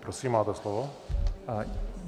Prosím, máte slovo.